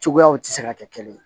Cogoyaw tɛ se ka kɛ kelen ye